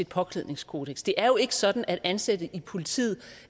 påklædningskodeks det er jo ikke sådan at ansatte i politiet